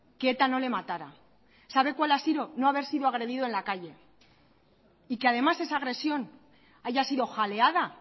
que eta no le matara sabe cuál ha sido no haber sido agredido en la calle y que además esa agresión haya sido jaleada